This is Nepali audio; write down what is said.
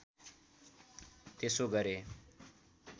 त्यसो गरे